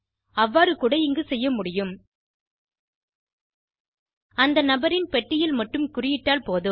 அவ்வாறு கூட இங்கு செய்ய முடியும் அந்த நபரின் பெட்டியில் மட்டும் குறியிட்டால் போதும்